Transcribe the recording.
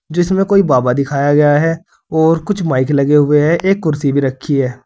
जिसमें कोई बाबा दिखाया गया है और कुछ माइक लगे हुए हैं एक कुर्सी भी रखी है।